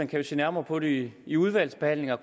kan se nærmere på det i udvalgsbehandlingen og